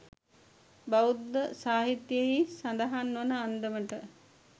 බෞද්ධ සාහිත්‍යයෙහි සඳහන් වන අන්දමට